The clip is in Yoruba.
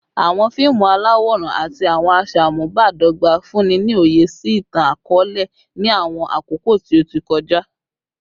Awọn fiimu alaworan ati awọn aṣamubadọgba funni ni oye si itan-akọọlẹ ni awọn akoko ti o ti kọja